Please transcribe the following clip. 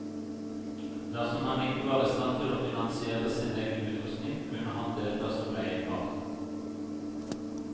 Dersom han ikke var istand til å finansiere sin egen utrustning, kunne han delta som leiekar.